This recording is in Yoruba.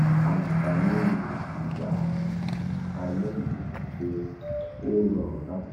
anafani igbakale yi ni pe o rorun lati se